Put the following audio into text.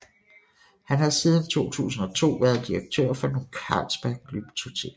Han har siden 2002 været direktør for Ny Carlsberg Glyptotek